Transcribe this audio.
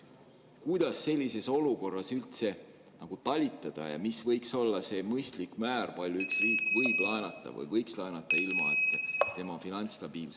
Kuidas sellises olukorras üldse nagu talitada ja mis võiks olla see mõistlik määr, palju üks riik võib laenata või võiks laenata ilma, et tema finantsstabiilsus …